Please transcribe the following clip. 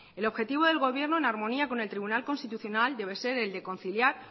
el objetivo del gobierno en armonía con el tribunal constitucional debe ser el de conciliar